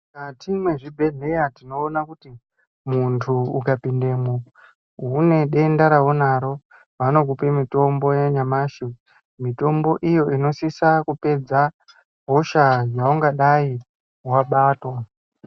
Mukati mwezvibhedhleya tinoona kuti muntu ukapindemwo une denda raunaro vanokupe mitombo yanyamashi mutombo iyo inosisa kupedza hosha yaungadai wabatwa.